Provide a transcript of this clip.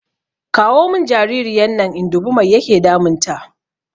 Kawo mun jaririyan nan in dubi mai yake damun ta